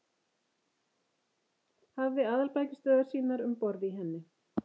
Hafði aðalbækistöðvar sínar um borð í henni.